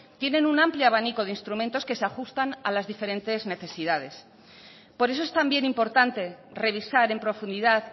tienen un amplio abanico de instrumentos que se ajustan a las diferentes necesidades por eso es también importante revisar en profundidad